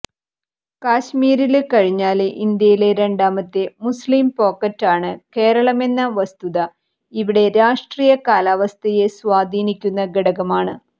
കശ്മീര് കഴിഞ്ഞാല് ഇന്ത്യയിലെ രണ്ടാമത്തെ മുസ്ലിം പോക്കറ്റാണ് കേരളമെന്ന വസ്തുത ഇവിടത്തെ രാഷ്ടീയ കാലാവസ്ഥയെ സ്വാധീനിക്കുന്ന ഘടകമാണ്